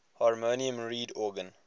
harmonium reed organ